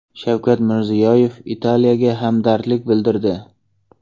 Shavkat Mirziyoyev Italiyaga hamdardlik bildirdi.